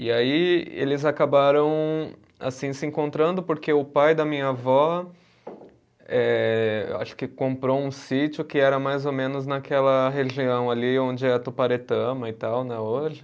E aí eles acabaram assim se encontrando porque o pai da minha avó, eh acho que comprou um sítio que era mais ou menos naquela região ali onde é a Tuparetama e tal né, hoje.